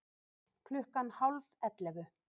Klukkan hálf ellefu